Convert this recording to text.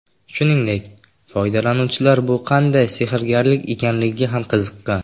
Shuningdek, foydalanuvchilar bu qanday sehrgarlik ekanligiga ham qiziqqan .